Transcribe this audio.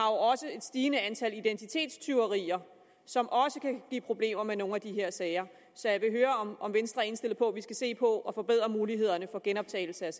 også et stigende antal identitetstyverier som også kan give problemer med nogle af de her sager så jeg vil høre om venstre er indstillet på at vi skal se på at forbedre mulighederne for genoptagelse af